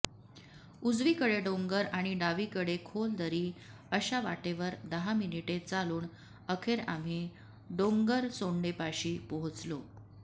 उजवीकडे डोंगर आणि डावीकडे खोल दरी अशा वाटेवर दहा मिनिटे चालून अखेर आम्ही डोंगरसोंडेपाशी पोहोचलो